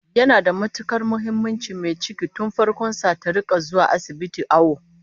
Yana da matukar muhimmanci mai ciki tun farkon sa ta rika zuwa asibiti awo